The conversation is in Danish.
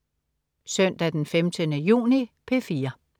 Søndag den 15. juni - P4: